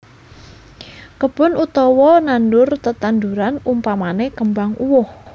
Kebon utawa nandur tetandhuran umpamane kembang uwoh